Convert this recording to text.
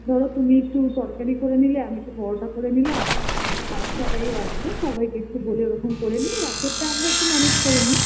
ধরো তুমি একটু তরকারি করে নিলে আমি একটু পরোটা করে নিলাম আর সবাইও আছে সবাইকে একটু বলে ওরকম করে নিয়ে রাতেরটা আমরা একটু manage করে নিই